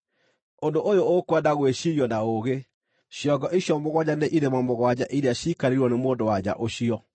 “Ũndũ ũyũ ũkwenda gwĩciirio na ũũgĩ. Ciongo icio mũgwanja nĩ irĩma mũgwanja iria ciikarĩirwo nĩ mũndũ-wa-nja ũcio.